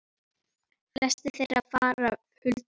Flestir þeirra fara huldu höfði.